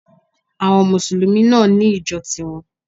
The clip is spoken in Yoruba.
Àwon mùsùlùmí náà ní ìjo ti won